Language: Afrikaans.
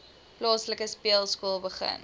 plaaslike speelskool begin